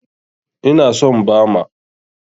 Ina son Bama.